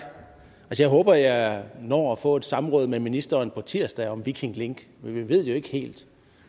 jeg håber at jeg når at få et samråd med ministeren på tirsdag om viking link men vi ved det jo ikke helt